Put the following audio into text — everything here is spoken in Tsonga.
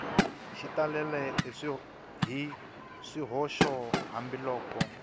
xi talele hi swihoxo hambiloko